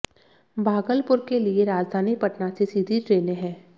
भागलपुर के लिए राजधानी पटना से सीधी ट्रेनें हैं